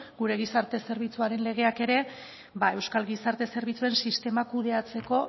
gure gizarte zerbitzuaren legeak ere euskal gizarte zerbitzuen sistema kudeatzeko